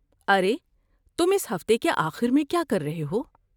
ارے، تم اس ہفتے کے آخر میں کیا کر رہے ہو؟